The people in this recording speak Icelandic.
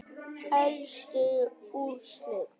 Helstu úrslit